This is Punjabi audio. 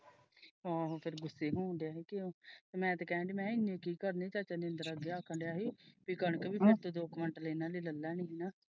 ਆਹੋ ਫੇਰ ਗੁੱਸੇ ਹੁਣ ਡਯਾ ਸੀ ਕਿ ਮੈਂ ਤੇ ਕਹਿਣ ਡਇ ਮੈਂ ਇਹਨੇ ਕਿ ਕਰਨੇ ਚਾਚਾ ਨੀਂਦਰਾਂ ਅੱਗੇ ਅਖਾਣ ਡਯਾ ਸੀ ਵੀ ਕਣਕ ਵੀ ਮੇਰੇ ਤੋਂ ਦੋ ਇਹਨਾਂ ਨੇ ਲੈ ਲਈ ਹੇਨਾ।